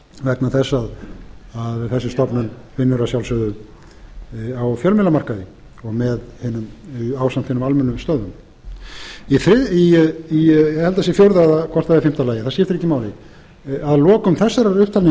vegna þess að þessi stofnun vinnur að sjálfsögðu á fjölmiðlamarkaði ásamt hinum almennu störfum ég held að það sé í fjórða eða fimmta lagi það skiptir ekki máli að lokum þessarar